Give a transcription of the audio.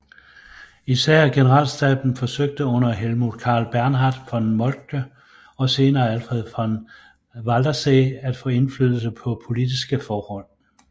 Især generalstaben forsøgte under Helmuth Karl Bernhard von Moltke og senere Alfred von Waldersee at få indflydelse på politiske forhold